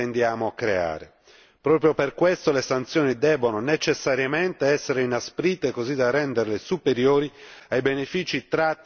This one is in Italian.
Proprio per questo le sanzioni devono necessariamente essere inasprite così da renderle superiori ai benefici tratti da pratiche sleali.